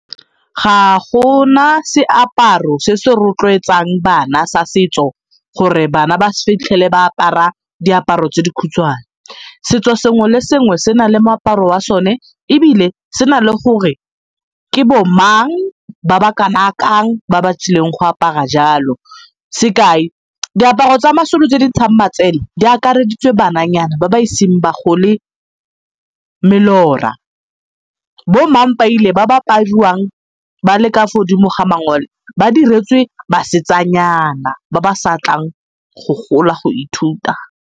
Ga go na seaparo se se rotloetsang bana sa setso gore bana ba se tlhole ba apara diaparo tse di khutshane. Setso sengwe le sengwe se na le moaparo wa sone ebile se na le gore ke bo mang ba ba ba ba tsileng go apara jalo. Sekai, diaparo tsa ma tse di ntshang matsele di akareditse bananyana ba ba iseng ba gole melora. Bommapaile ba ba apariwang ba le ka fo godimo ga mangole ba diretswe basetsanyana ba ba sa tlang go gola go ithuta.